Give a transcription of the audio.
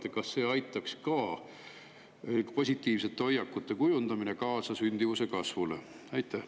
Mida te arvate, kas positiivsete hoiakute kujundamine aitaks kaasa sündimuse kasvule?